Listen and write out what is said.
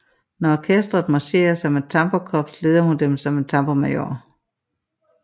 Når orkestret marcherer som et tamburkops leder hun dem som en tamburmajor